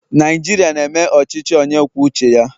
Naijiria na-eme ọchịchị onye kwuo uche ya